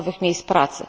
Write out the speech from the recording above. nowych miejsc pracy.